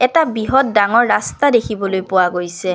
এটা বৃহৎ ডাঙৰ ৰাস্তা দেখিবলৈ পোৱা গৈছে।